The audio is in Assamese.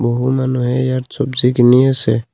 বহু মানুহে ইয়াত চবজি কিনি আছে।